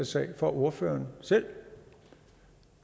sag for ordføreren selv